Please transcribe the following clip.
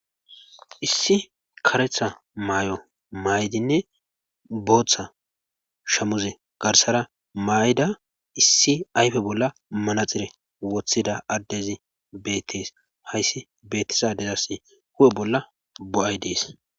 Issi kareththa may'o may'dinne booththa shamuze garssara may'da issi ayfe bolla manaxire woththida addezi bettees hayssi bettiza addezassi hu'e bolla bo'ay dees